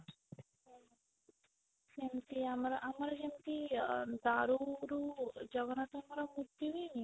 ସେମିତି ଆମର ଆମର ଯେମିତି ଅ ଦାରୁ ରୁ ଜଗନ୍ନାଥ ଙ୍କର ମୂର୍ତ୍ତି ହୁଏନି